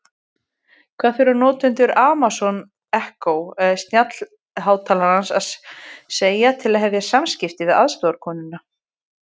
Hvað þurfa notendur Amazon Echo snjallhátalara að segja til að hefja samskipti við aðstoðarkonuna?